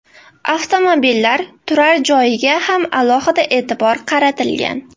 Avtomobillar turar joyiga ham alohida e’tibor qaratilgan.